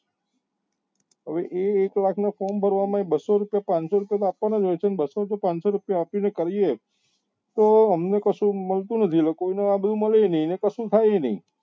હવે એ એક લાખ ના form ભરવા ના બસો રૂપિયા પાંચસો રૂપિયા તો આપવા ના જ ને બસ્સો કે પાંચસો રૂપિયા આપી મને ભરીએ તો અમને કશું મળતું નથી ને કોઈ ને એ બી મળે નહિ ને કશું થાય એ નહી